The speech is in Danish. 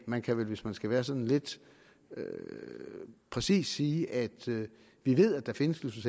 man kan vel hvis man skal være sådan lidt præcis sige at vi ved at der findes